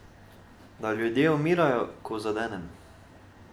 Da ljudje umirajo, ko zadenem.